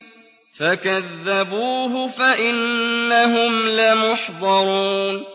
فَكَذَّبُوهُ فَإِنَّهُمْ لَمُحْضَرُونَ